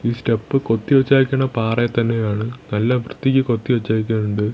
ഈ സ്റ്റെപ്പ് കൊത്തി വെച്ചേക്കണ് പാറയെ തന്നെയാണ് നല്ല വൃത്തിക്ക് കൊത്തിവെച്ചിട്ടുണ്ട്.